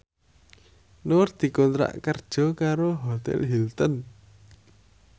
Nur dikontrak kerja karo Hotel Hilton